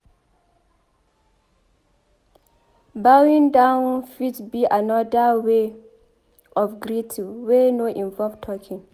Bowing down fit be anoda wey of greeting wey no involve talking